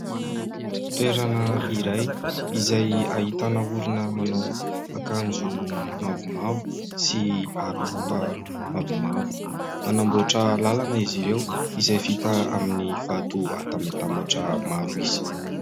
Toerana iray, izay ahitana olona manao akanjo mavomavo sy aroloha mavomavo. Manamboatra lalana izy ireo, izay vita amin'ny vato atambatambatra maro isa.